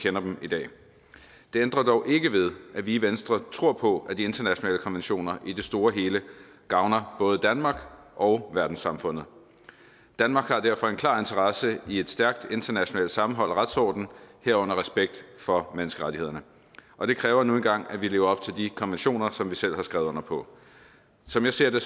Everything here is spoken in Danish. kender dem i dag det ændrer dog ikke ved at vi i venstre tror på at de internationale konventioner i det store hele gavner både danmark og verdenssamfundet danmark har derfor en klar interesse i et stærkt internationalt sammenhold og retsorden herunder respekt for menneskerettighederne og det kræver nu engang at vi lever op til de konventioner som vi selv har skrevet under på som jeg ser det